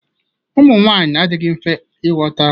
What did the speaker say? Ụmụnwanyị adịghị mfe ịghọta.